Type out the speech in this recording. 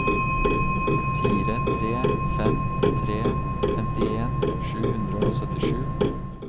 fire tre fem tre femtien sju hundre og syttisju